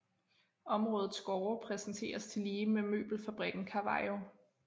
Områdets gårde præsenteres tillige med møbelfabrikken Cavallo